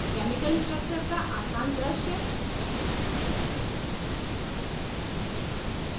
chemical structures का आसान दृश्य